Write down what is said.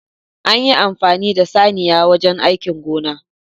An yi amfani da saniya wajen aikin gona